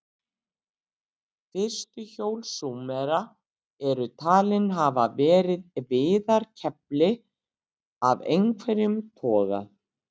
Fyrstu hjól Súmera eru talin hafa verið viðarkefli af einhverjum toga.